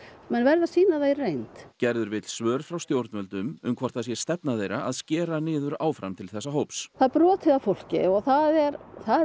verður að sýna það í reynd gerður vill svör frá stjórnvöldum um hvort það sé stefna þeirra að skera niður áfram til þessa hóps það er brotið á fólki og það er